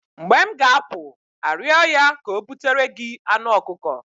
mgbe m ga-apụ arịọ ya ka o butere gị anụ ọkụkọ